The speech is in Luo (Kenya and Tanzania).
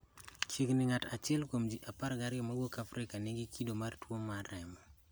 Chiegni ng�at achiel kuom ji 12 mawuok Afrika nigi kido mar tuo remo.